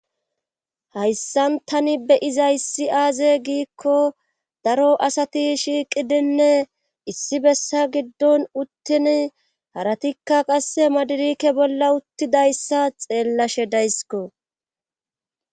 hayssan tani beyiza issi aaze giikko daro asati shiiqidinne issi bessa giddon uttin haratikka qasse madirike bolla uttidayssa xeellashe daysiko